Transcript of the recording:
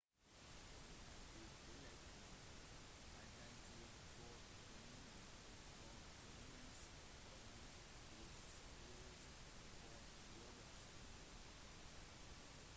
han fikk tittelen «helten til sovjetunionen» sovjetunionens høyeste hyllest for jobben sin